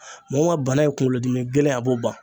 Mɔgɔ mun ka bana ye kunkolodimi gɛlɛn a b'o ban.